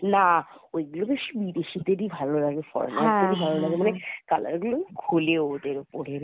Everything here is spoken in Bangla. না, ঐগুলো বেশ বিদেশিদের ই ভালো লাগে foreigner দের ই ভালো লাগে মানে color গুলোও খুলে ওদের ওপরে রে